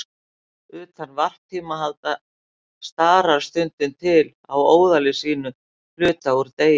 Utan varptíma halda starar stundum til á óðali sínu hluta úr degi.